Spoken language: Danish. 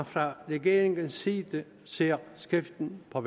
fra regeringens side ser skriften på